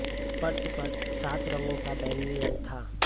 पर्दे पर सात रंगों पर बैंगनी रंग था